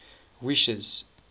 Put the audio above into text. wishes